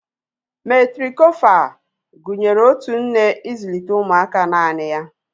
Metrikofal gụnyere otu nne ịzụlite ụmụaka naanị ya